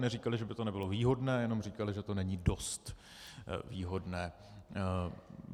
Neříkali, že by to nebylo výhodné, jenom říkali, že to není dost výhodné.